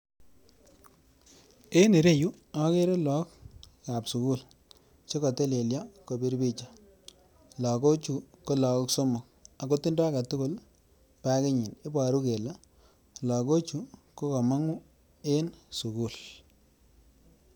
En ireyu okere lok ab sukul chekotelelso kobir picha ,loko chuu ko lokok somok ako tindo agetukul bakinyi, iboru kele lokochuu kokomoguu en sukul.